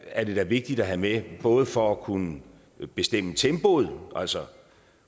er det vigtigt at have med både for at kunne bestemme tempoet altså